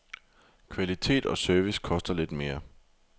Kvalitet og service koster lidt mere.